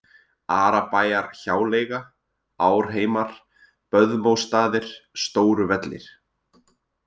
Arabæjarhjáleiga, Árheimar, Böðmósstaðir, Stóru-Vellir